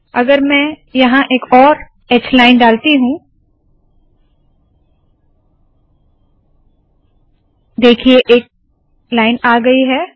अगर मैं यहाँ एक और h लाइन डालती हूँ देखिए एक लाइन आ गयी है